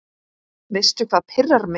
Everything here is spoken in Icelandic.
Veistu hvað pirrar mig?